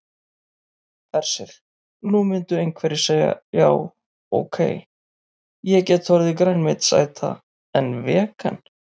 Hersir: Nú myndu einhverjir segja já ok, ég get orðið grænmetisæta en vegan?